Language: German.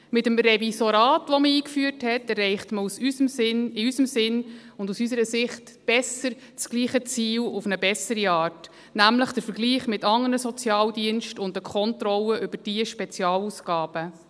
Mit dem Revisorat, das man eingeführt hat, erreicht man aus unserer Sicht das gleiche Ziel auf eine bessere Art, nämlich durch den Vergleich mit andern Sozialdiensten und eine Kontrolle über diese Spezialausgaben.